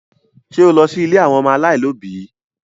Ṣé o lọ sí ilé àwọn ọmọ aláìní òbí?